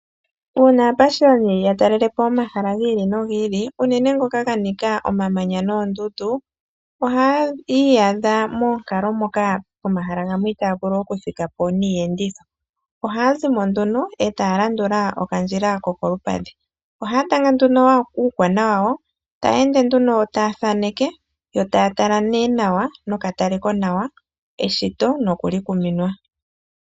Uuna aapashiyoni ya talele po omahala gi ili nogi ili, unene ngoka ga nika omamanya noondundu, ohaa iyadha moonkalo moka pomahala gamwe itaaya vulu oku thika po niiyenditho. Ohaa zi mo nduno, e taya landula okandjila ko kolupadhi. Ohaa tanga nduno uukwana wawo, e taya ende nduno taya thaaneke, to taya tala nee nawa nokatalekonawa eshito noku li kuminwa.